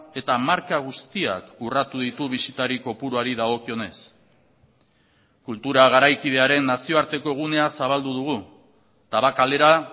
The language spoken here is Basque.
eta marka guztiak urratu ditu bisitari kopuruari dagokionez kultura garaikidearen nazioarteko gunea zabaldu dugu tabakalera